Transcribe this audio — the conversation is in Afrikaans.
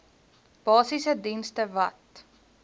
basiese dienste wat